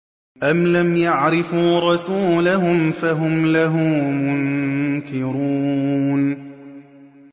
أَمْ لَمْ يَعْرِفُوا رَسُولَهُمْ فَهُمْ لَهُ مُنكِرُونَ